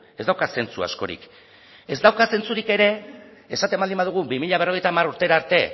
ez dauka zentzu askorik ez dauka zentzurik ere esaten baldin badugu bi mila berrogeita hamar urtera arte